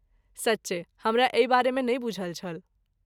सच्चे! हमरा एहि बारेमे नै बूझल छल।